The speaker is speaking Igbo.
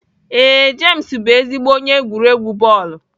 Ee, James bụ ezigbo onye egwuregwu bọọlụ.